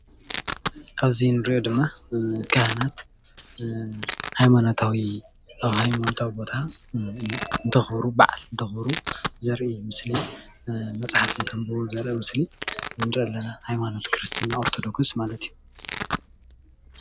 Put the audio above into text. ኣብዚ ንርእዮ ድማ ካህናት ሃይማኖታዊ ኣብ ሃይማኖታዊ ቦታ እንተኽብሩ ባዓል እንተኽብሩ ዘርኢ ምስሊ መፅሓፍ እንተንብቡ ዘርኢ ምስሊ ንርኢ ኣለና ሃይማኖት ክርስትና ኦርቶዶክስ ማለት እዩ።